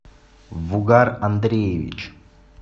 вугар андреевич